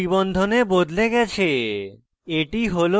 দ্বি bond triple বন্ধনে বদলে গেছে